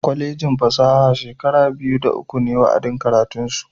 Kwalejin fasaha shekara biyu da uku ne wa'adin karatunsu.